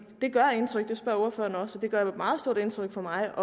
gør indtryk det spørger ordføreren også om det gør meget stort indtryk på mig